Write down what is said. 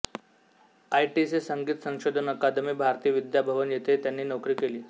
ITC संगीत संशोधन academy Bharatiya Vidya Bhavan येथेही त्यांनी नोकरी केली